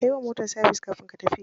Ka yi wa motar sabis kafin ka tafi.